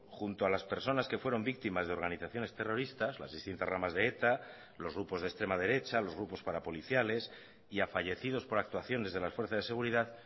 junto a las personas que fueron víctimas de organizaciones terroristas las distintas ramas de eta los grupos de extrema derecha los grupos parapoliciales y a fallecidos por actuaciones de las fuerzas de seguridad